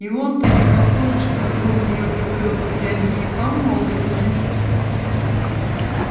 и он-то непохоже чтобы был в нее влюблён хоть они и помолвлены